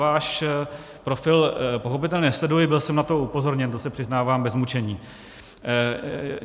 Váš profil pochopitelně nesleduji, byl jsem na to upozorněn, to se přiznávám bez mučení.